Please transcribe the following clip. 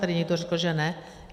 Tady někdo řekl, že ne.